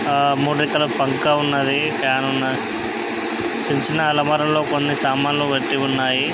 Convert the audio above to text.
ఆ మూడు రెక్కల పంక ఉన్నది.ఫ్యాన్ ఉన్నది. చిన్న చిన్న అలమారాల్లో కొన్ని సామాన్లు పెట్టి ఉన్నాయి.